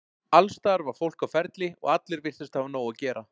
Alls staðar var fólk á ferli og allir virtust hafa nóg að gera.